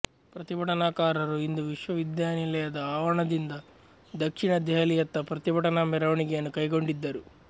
ಪ್ರತಿಭಟನಾಕಾರರು ಇಂದು ವಿಶ್ವವಿದ್ಯಾನಿಲಯದ ಆವರಣದಿಂದ ದಕ್ಷಿಣ ದೆಹಲಿಯತ್ತ ಪ್ರತಿಭಟನಾ ಮೆರವಣಿಗೆಯನ್ನು ಕೈಗೊಂಡಿದ್ದರು